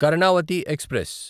Karnavati express